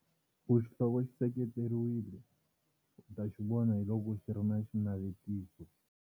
Ku xihloko xi seketeriwile u ta xi vona hi loko xi ri na xinavetiso.